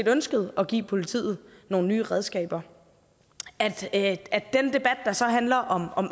ønskede at give politiet nogle nye redskaber at den debat der så handler om